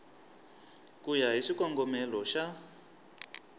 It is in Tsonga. ku ya hi xikongomelo xa